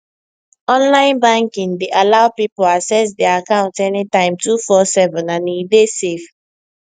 online banking dey allow people access their account anytime 247 and e dey safe